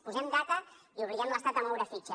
posem data i obliguem l’estat a moure fitxa